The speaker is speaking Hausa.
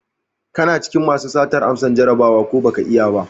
Kana cikin masu satar amsan Jarabawa, ko baka yi ba?